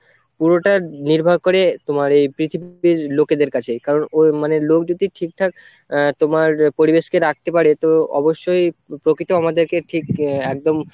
পুরোটা নির্ভর করে তোমার এই পৃথিবী লোকেদের কাছে, কারণ ও মানে লোক যদি ঠিকঠাক আহ তোমার পরিবেশকে রাখতে পারে তো অবশ্যই প্রকৃতি আমাদেরকে ঠিক একদম